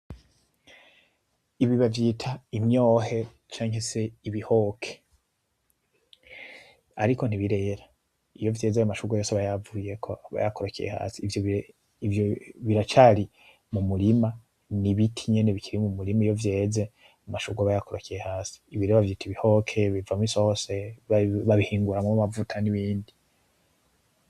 Ibi bavyita imyohe canke se ibihoke, ariko ntibirera iyo vyeze ayo mashurwe yose aba yavuyeko aba yakorokeye hasi ivyo, ivyo biracari mu murima, n'ibiti nyene bikiri mu murima iyo vyeze amashurwe aba yakorokeye hasi. Ibi rero bavyita ibihoke bivamwo isose, babihinguramwo amavuta n'ibindi.